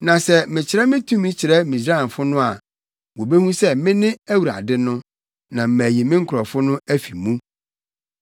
Na sɛ mekyerɛ me tumi kyerɛ Misraimfo no a, wobehu sɛ mene Awurade no, na mayi me nkurɔfo no afi mu.”